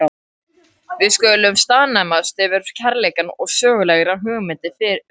Við skulum staðnæmast við kærleikann og sögulegar hugmyndir um hann.